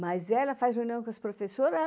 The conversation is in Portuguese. Mas ela faz reunião com as professoras.